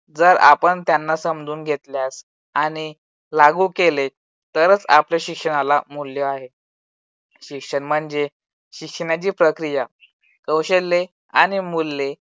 जर आपण त्यांना समजून घेतल्यास आणि लागू केले. तरच आपल्या शिक्षणाला मूल्य आहे. शिक्षण म्हणजे शिक्षणाची प्रक्रिया कौशल्ये आणि मूल्ये